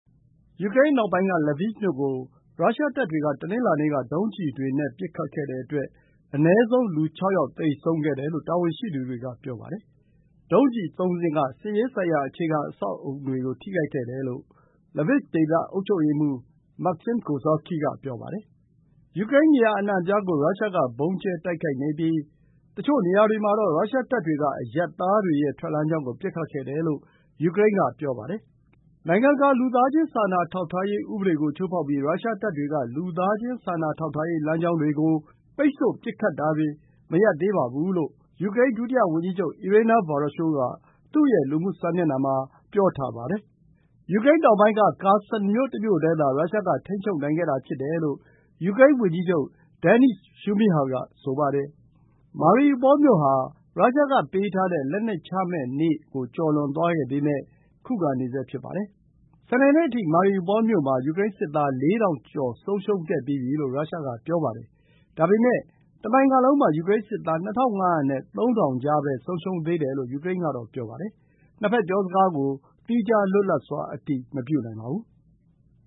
ယူကရိန်းအနောက်ပိုင်း မြို့ Lviv ကို ရုရှားတပ်တွေက တနင်္လာနေ့က ဒုံးကျည်တွေနဲ့ ပစ်ခတ်ခဲ့တဲ့အတွက် အနည်းဆုံး လူ ၆ ယောက် သေဆုံးခဲ့တယ်လို့ တာဝန်ရှိသူတွေက ပြောပါတယ်။ ဒုံးကျည် ၃ စင်းက စစ်ရေးဆိုင်ရာ အခြေခံအဆောက်အအုံတွေကို ထိခဲ့တယ်လို့ Lviv ဒေသ အုပ်ချုပ်ရေးမှူး မာ့ခ်ဆင်း ကိုဇာစကီ Maksym Kozystkiy က ပြောပါတယ်။ ယူကရိန်း နေရာအနှံ့အပြားကို ရုရှားက ဗုံးကြဲတိုက်ခိုက်နေပြီး တချို့နေရာတွေ မှာတော့ ရုရှားတပ်တွေက အရပ်သားတွေရဲ့ ထွက်လမ်းကြောင်းကို ပစ်ခတ်ခဲ့တယ်လို့ ယူကရိန်းက ဆိုပါတယ်။ “နိုင်ငံတကာ လူသားချင်းစာနာထောက်ထားရေး ဥပဒေကို ချိုးဖောက်ပြီး ရုရှားတပ်တွေက လူသားချင်းစာနာထောက်ထားရေး လမ်းကြောင်းတွေကို ပိတ်ဆို့ပစ်ခတ်တာတွေကို မရပ်သေးပါဘူးလို့ ယူကရိန်း ဒုတိယဝန်ကြီးချုပ် အီရေနာ ဗာရာရှိုး (Iryna Vereshchuk) က သူ့ရဲ့ လူမှုစာမျက်နှာမှာ ပြောပါတယ်။ ယူကရိန်း တောင်ပိုင်းက Kherson မြို့မြို့တည်းသာ ရုရှားက ထိန်းချုပ်နိုင်ခဲ့တာ ဖြစ်တယ်လို့ ယူကရိန်းဝန်ကြီးချုပ် ဒယ်နိစ် ရှုမိဟာ (Denys Shmyhal) က ဆိုပါတယ်။ Mariupol မြို့ဟာ ရုရှားကပေးထားတဲ့ လက်နက်ချရမယ့်နေ့ ကျော်လွန် သွားပေမယ့် ယူကရိန်းက ခုခံနေဆဲ ဖြစ်ပါတယ်။ စနေနေ့အထိ Mariupol မြို့မှာ ယူကရိန်းစစ်သား ၄,၀၀၀ ကျော် ဆုံးရှုံးခဲ့ပြီးပြီလို့ ရုရှားက ပြောပါတယ်။ ဒါပေမယ့် တနိုင်ငံလုံးမှာ ယူကရိန်းစစ်သား ၂၅၀၀ နဲ့ ၃,၀၀၀ ကြားပဲ ဆုံးရှုံးသေးတယ်လို့ ယူကရိန်းကတော့ ပြောပါတယ်။ နှစ်ဘက် ပြောစကားကို သီးခြားလွတ်လပ်စွာ အတည်မပြုနိုင်သေးပါဘူး။